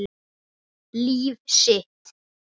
Líf sitt.